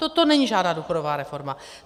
Toto není žádná důchodová reforma.